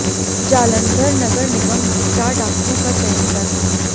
जालंधर नगर निगम में चार डाक्टरों का चयन रद्द